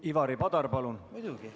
Ivari Padar, palun!